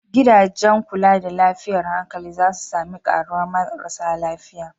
Gidajen kula da lafiyar hankali za su sami karuwar marasa lafiya.